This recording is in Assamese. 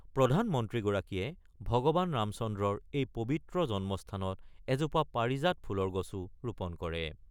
প্ৰধানমন্ত্ৰীগৰাকীয়ে ভগৱান ৰামচন্দ্ৰৰ এই পৱিত্ৰ জন্মস্থানত এজোপা পাৰিজাত ফুলৰ গছো ৰোপণ কৰে।